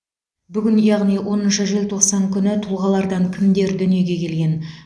бүгін яғни оныншы желтоқсан күні тұлғалардан кімдер дүниеге келген